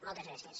moltes gràcies